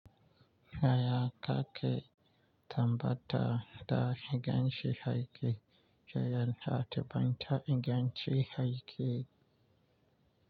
Yaya ka ke tabbatar da ingancin aiki da yanayin aikin bankin ta inganci aiki?